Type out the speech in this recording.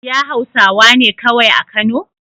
Iya hausawane kawai a kano?